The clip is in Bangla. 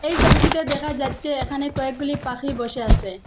এই সবিটিতে দেখা যাচ্ছে এখানে কয়েকগুলি পাখি বসে আসে।